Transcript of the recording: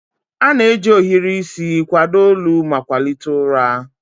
A na-eji ohiri isi kwado olu ma kwalite ụra.